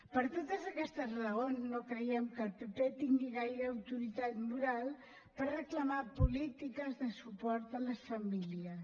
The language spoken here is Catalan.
per totes aquestes raons no creiem que el pp tingui gaire autoritat moral per reclamar polítiques de suport a les famílies